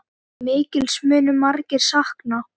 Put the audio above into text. Mikils munu margir sakna.